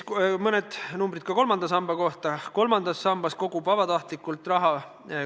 Mõned numbrid ka kolmanda samba kohta.